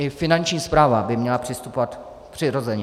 I Finanční správa by měla přistupovat přiměřeně.